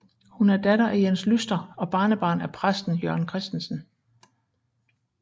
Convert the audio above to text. Hun er datter af Jens Lyster og barnebarn af præsten Jørgen Kristensen